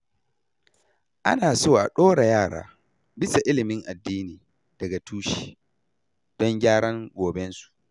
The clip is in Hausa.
Ana so a ɗora yara bisa ilimin addini daga tushe, don gyaran gobensu.